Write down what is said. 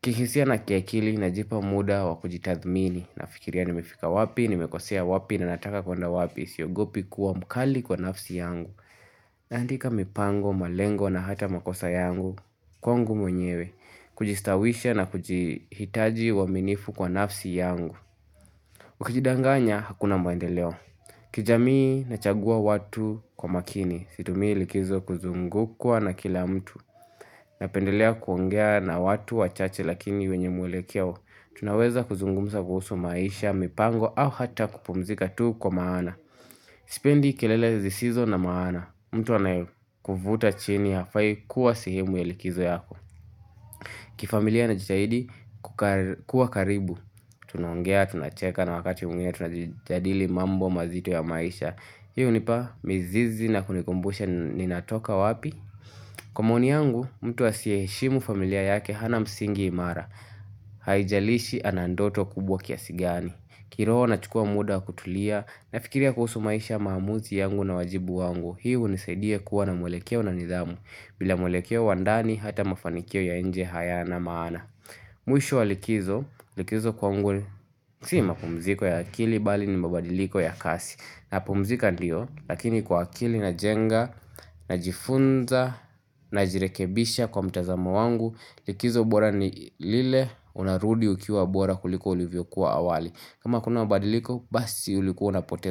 kihisia na kiakili najipa muda wa kujitathmini nafikiria nimefika wapi, nimekosea wapi na nataka kuenda wapi, siyogopi kuwa mkali kwa nafsi yangu. Naandika mipango, malengo na hata makosa yangu, kwangu mwenyewe, kujistawisha na kujihitaji waminifu kwa nafsi yangu. Ukijidanganya hakuna maendeleo. Kijamii nachagua watu kwa makini, situmi likizo kuzungukwa na kila mtu. Napendelea kuongea na watu wachache lakini wenye muwelekeo Tunaweza kuzungumsa kuhusu maisha, mipango au hata kupumzika tuu kwa maana Spendi kelele zisizo na maana mtu anaekufuta chini hafai kuwa sehemu ya likizo yako kifamilia najitahidi kuwa karibu Tunaongea, tunacheka na wakati muingine, tunajadili mambo mazito ya maisha Hii hunipa, mizizi na kunikumbusha ninatoka wapi Kwa mawoni yangu, mtu asiyeheshimu familia yake hana msingi imara Haijalishi anandoto kubwa kiasi gani kiroho nachukua muda kutulia Nafikiria kuhusu maisha maamuzi yangu na wajibu wangu Hii hunisaidia kuwa na mwelekeo na nidhamu bila mwelekeo wa ndani hata mafanikio ya enje hayana maana Mwisho wa likizo, likizo kwangu ni Si mapumziko ya akili bali ni mbabadiliko ya kasi napumzika ndio, lakini kwa akili najenga najifunza najirekebisha kwa mtazamo wangu likizo bora ni lile unarudi ukiwa bora kuliko ulivyo kuwa awali kama hakuna mabadiliko basi ulikuwa unapoteza.